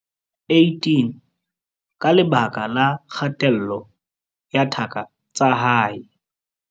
18 ka lebaka la kgatello ya thaka tsa hae.